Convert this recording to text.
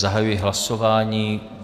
Zahajuji hlasování.